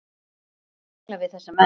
Sjá tengla við þessa menn.